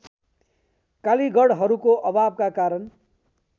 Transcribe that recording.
कालिगढहरूको अभावका कारण